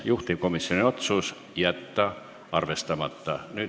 Juhtivkomisjoni otsus: jätta arvestamata.